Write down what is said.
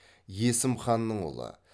есім ханның ұлы